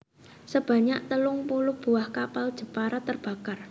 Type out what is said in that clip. Sebanyak telung puluh buah kapal Jepara terbakar